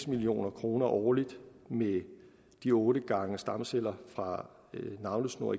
million kroner årligt med de otte gange stamceller fra navlesnor